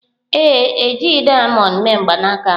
Ee, e jighị dayamond mee mgbanaka ahụ.